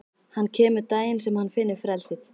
Hann kemur daginn sem hann finnur frelsið.